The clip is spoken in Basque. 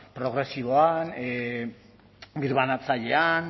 progresiboan birbanatzailean